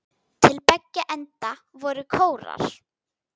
Til beggja enda voru kórar.